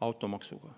automaksuga.